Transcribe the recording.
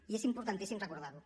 i és importantíssim recordar ho